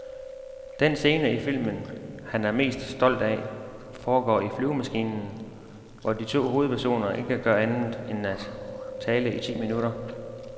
Den scene i filmen, Han er mest stolt af, foregår i flyvemaskinen, hvor de to hovedpersoner ikke gør andet end tale i ti minutter.